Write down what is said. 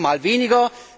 Mal mehr, mal weniger.